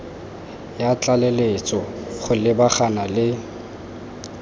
ya tlaleletso go lebagana le